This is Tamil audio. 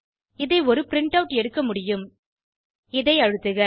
இதை ஒரு பிரின்ட்டவுட் எடுக்க முடியும் இதை அழுத்துக